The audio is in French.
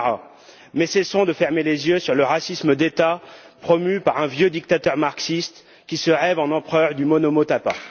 Dzamara mais cessons de fermer les yeux sur le racisme d'État, promu par un vieux dictateur marxiste, qui se rêve en empereur du Monomotapa.